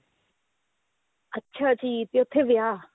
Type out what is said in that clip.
ਅੱਛਾ ਠੀਕ ਹੈ ਉੱਥੇ ਵਿਆਹ